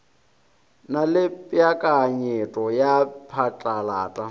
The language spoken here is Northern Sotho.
na le peakanyeto ya phatlalata